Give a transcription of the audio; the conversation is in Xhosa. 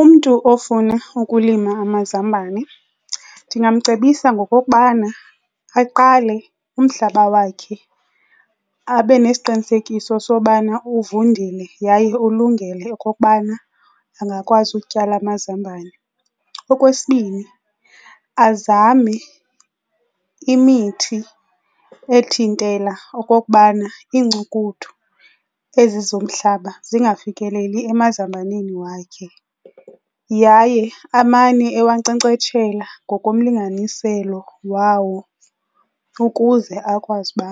Umntu ofuna ukulima amazambane ndingamcebisa ngokokubana aqale umhlaba wakhe abe nesiqinisekiso sobana uvundile yaye ulungele okokubana angakwazi utyala amazambane. Okwesibini, azame imithi ethintela okokubana iincukuthu ezi zomhlaba singafikeleli emazambaneni wakhe yaye amane ewankcenkcetshela ngokomlinganiselo wawo ukuze akwazi uba